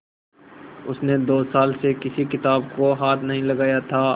उसने दो साल से किसी किताब को हाथ नहीं लगाया था